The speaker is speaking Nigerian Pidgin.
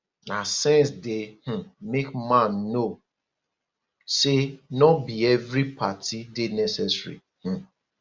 na sense dey um make man know say no bi evri party dey necessary um